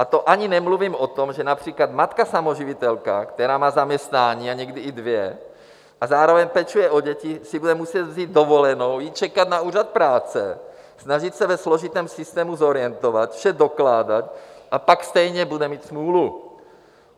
A to ani nemluvím o tom, že například matka samoživitelka, která má zaměstnání a někdy i dvě a zároveň pečuje o děti, si bude muset vzít dovolenou, jít čekat na úřad práce, snažit se ve složitém systému zorientovat, vše dokládat, a pak stejně bude mít smůlu.